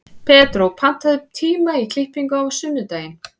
Pedró, pantaðu tíma í klippingu á sunnudaginn.